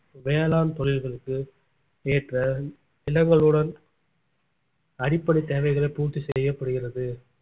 வேளாண் தொழில்களுக்கு ஏற்ற நிலங்களுடன் அடிப்படைத் தேவைகளை பூர்த்தி செய்யப்படுகிறது